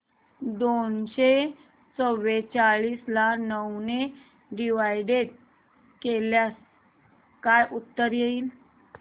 दोनशे चौवेचाळीस ला नऊ ने डिवाईड केल्यास काय उत्तर येईल